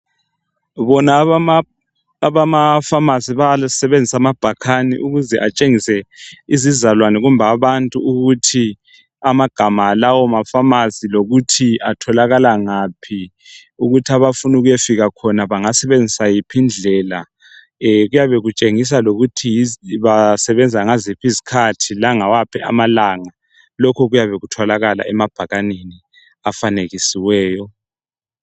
Bonaba abamapharmacy babesebenze amabhakani. Ukuze atshengise izizalwane kumbe abantu ukuthi amagama alawomapharmacy. Lokuthi atholaiaka ngaphi. Ukuthi abafuna ukuyafika khona bangasebenzisa yiphi indlela. Kuyabe kutshengisa lokuthi basebenza ngaziphi izikhathi, langawaphi amalanga. Lokhu kuyabe kutholakala emabhakaneni afanekisiweyo.